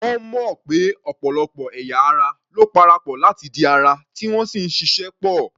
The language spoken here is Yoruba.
Wọ́n mọ̀ pé ọ̀pọ̀lọpọ̀ ẹ̀ya ara ló parapọ̀ láti di ara, tí wọ́n sì ń ṣịṣẹ́ pọ̀.